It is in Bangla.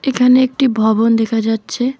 এখানে একটি ভবন দেখা যাচ্ছে।